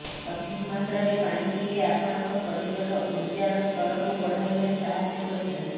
ସଠିକ୍ ମାତ୍ରାରେ ପାଣି ପିଇଲେ ଆପଣଙ୍କ ଶରୀରର ଉର୍ଜାର ସ୍ତରକୁ ବଢାଇବାରେ ସାହାଯ୍ୟ କରିଥାଏ